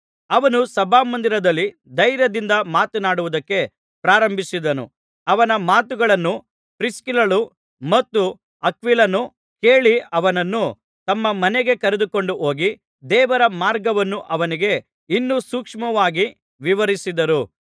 ಅವನು ಸಭಾಮಂದಿರದಲ್ಲಿ ಧೈರ್ಯದಿಂದ ಮಾತನಾಡುವುದಕ್ಕೆ ಪ್ರಾರಂಭಿಸಿದನು ಅವನ ಮಾತುಗಳನ್ನು ಪ್ರಿಸ್ಕಿಲ್ಲಳೂ ಮತ್ತು ಅಕ್ವಿಲನೂ ಕೇಳಿ ಅವನನ್ನು ತಮ್ಮ ಮನೆಗೆ ಕರೆದುಕೊಂಡು ಹೋಗಿ ದೇವರ ಮಾರ್ಗವನ್ನು ಅವನಿಗೆ ಇನ್ನೂ ಸೂಕ್ಷ್ಮವಾಗಿ ವಿವರಿಸಿದರು